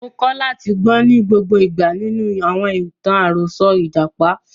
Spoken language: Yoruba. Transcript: Mo kọ́ láti gbọ́n ní gbogbo ìgbà nínú àwọn ìtàn àròsọ ìjàpá.